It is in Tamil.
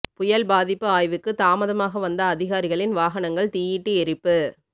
புயல் பாதிப்பு ஆய்வுக்கு தாமதமாக வந்த அதிகாரிகளின் வாகனங்கள் தீயிட்டு எரிப்பு